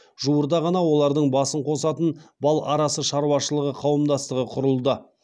жуырда ғана олардың басын қосатын бал арасы шаруашылығы қауымдастығы құрылды